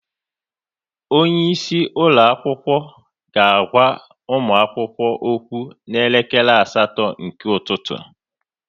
Onye isi ụlọ akwụkwọ ga-agwa ụmụ akwụkwọ okwu n'elekere asatọ nke ụtụtụ